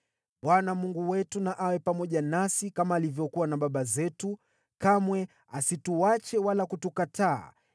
Bwana Mungu wetu na awe pamoja nasi kama alivyokuwa na baba zetu, kamwe asituache wala kutukataa.